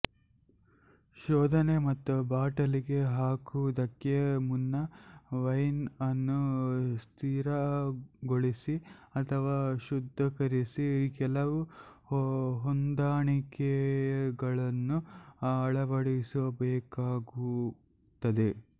ಶೋಧನೆ ಮತ್ತು ಬಾಟಲಿಗೆ ಹಾಕುವುದಕ್ಕೆ ಮುನ್ನ ವೈನ್ ಅನ್ನು ಸ್ಥಿರಗೊಳಿಸಿ ಅಥವಾ ಶುದ್ಧೀಕರಿಸಿ ಕೆಲವು ಹೊಂದಾಣಿಕೆಗಳನ್ನು ಅಳವಡಿಸಬೇಕಾಗುತ್ತದೆ